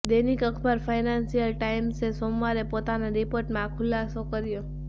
દૈનિક અખબાર ફાયનાન્શિયલ ટાઈમ્સે સોમવારે પોતાના રિપોર્ટમાં આ ખુલાસો કર્યો